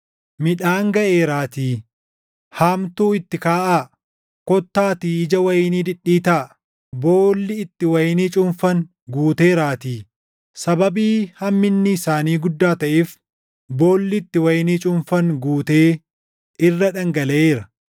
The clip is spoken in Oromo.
Midhaan gaʼeeraatii haamtuu itti kaaʼaa. Kottaatii ija wayinii dhidhiitaa; boolli itti wayinii cuunfan guuteeraatii; sababii hamminni isaanii guddaa taʼeef boolli itti wayinii cuunfan guutee irra dhangalaʼeera!”